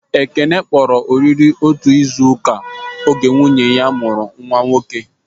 Ekene kpọrọ oriri otu izuka oge nwunye ya mụrụ nwa nwoke